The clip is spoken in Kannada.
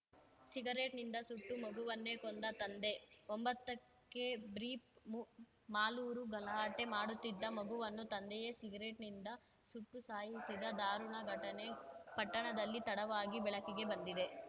ಸಿಗರೆಟ್‌ನಿಂದ ಸುಟ್ಟು ಮಗುವನ್ನೇ ಕೊಂದ ತಂದೆ ಒಂಬತ್ತಕ್ಕೆ ಬ್ರೀಪ್ ಮು ಮಾಲೂರು ಗಲಾಟೆ ಮಾಡುತ್ತಿದ್ದ ಮಗುವನ್ನು ತಂದೆಯೇ ಸಿಗರೆಟ್‌ನಿಂದ ಸುಟ್ಟು ಸಾಯಿಸಿದ ದಾರುಣ ಘಟನೆ ಪಟ್ಟಣದಲ್ಲಿ ತಡವಾಗಿ ಬೆಳಕಿಗೆ ಬಂದಿದೆ